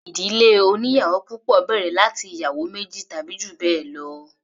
Ìdílé oníyàwò púpọ̀ bẹ̀rẹ̀ láti ìyàwó méjì tàbí jù bẹ́ẹ̀ lọ.